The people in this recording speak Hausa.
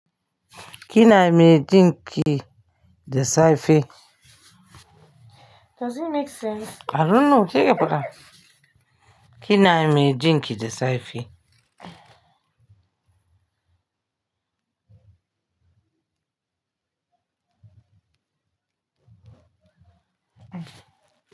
Kina mai jin ki da safe? Does it make sense? I don't know. Ke ka faɗa. Kina mai jin ki da safe?